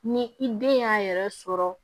Ni i den y'a yɛrɛ sɔrɔ